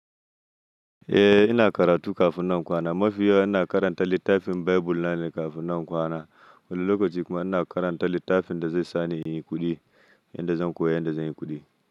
Eh ina karatu kafin na kwana, mafi yawa ina karanta littafin Bible nan kafin na kwana. Wani lokaci kuma ina karanta littafin da zai sani yin kuɗi, yanda zan koya yanda zan yi kuɗi.